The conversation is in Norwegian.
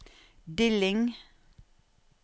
Dilling